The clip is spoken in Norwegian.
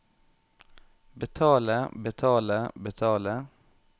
betale betale betale